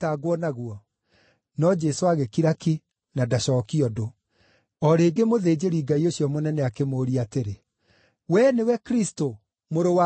No Jesũ agĩkira ki, na ndacookie ũndũ. O rĩngĩ mũthĩnjĩri-Ngai ũcio mũnene akĩmũũria atĩrĩ, “Wee nĩwe Kristũ, Mũrũ wa Ũrĩa Mũrathime?”